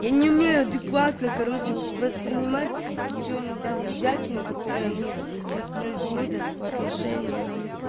я не умею адекватно короче воспринимать всю иногда бредятину которую они воспроизводят по отношению